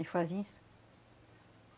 E fazem isso.